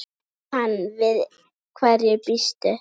Jóhann: Við hverju býstu?